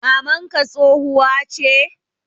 mamanka tsohuwa che?